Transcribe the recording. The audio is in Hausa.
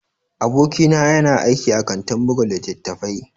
Abokina yana aiki a kantin buga littattafai.